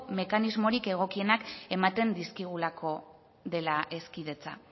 mekanismorik egokienak ematen dizkigulako dela hezkidetza